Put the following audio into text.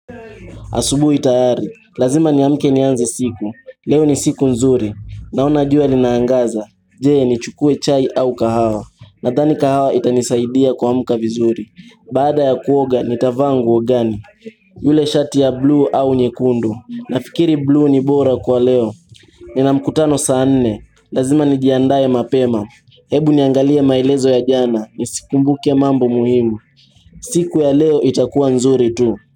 Asubuhi tayari, lazima niamke nianze siku, leo ni siku nzuri, naona jua linaangaza, je ni chukue chai au kahawa, nadani kahawa itanisaidia kwa muka vizuri, baada ya kuoga ni tavangu ogani, yule shati ya blue au nyekundu, nafikiri blue ni bora kwa leo, nina mkutano saa nne, lazima nijiandae mapema, hebu niangalie maelezo ya jana, nisikumbuke mambo muhimu, siku ya leo itakuwa nzuri tu.